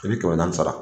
I bɛ kɛmɛ naani sara